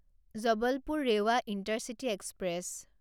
Jabalpur Rewa intercity express